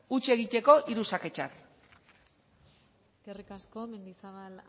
huts egiteko hiru xake txar eskerrik asko mendizabal